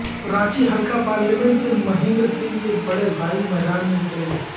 رانچی حلقہ پارلیمنٹ سے مہیندر سنگھ کے بڑے بھائی میدان میں اترینگے